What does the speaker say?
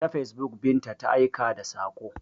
Ta facebook Binta ta aika da saƙo.